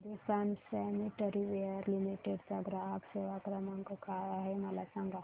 Hindustan sanitaryware limited चा ग्राहक सेवा क्रमांक काय आहे मला सांगा